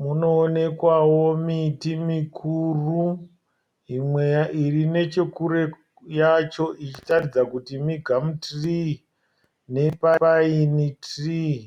Munoonekwawo miti mikuru iri nechekure yacho ichiratidza kuti migamutirii nepaini tirii.